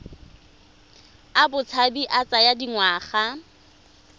a botshabi a tsaya dingwaga